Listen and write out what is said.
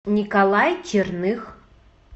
николай черных